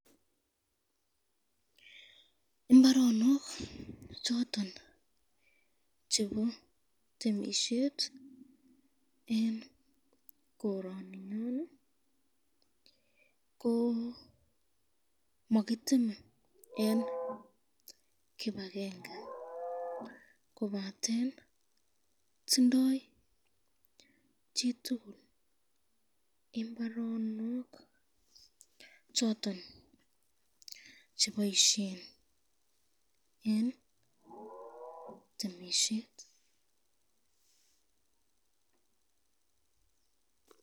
Imbaronok choton chebo temisyet eng koroninyon ,ko makitene eng kibakenge kobaten tindo imbaronok choton cheboisyen eng temisyet.